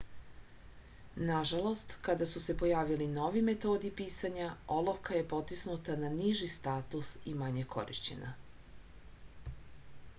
nažalost kada su se pojavili novi metodi pisanja olovka je potisnuta na niži status i manje korišćena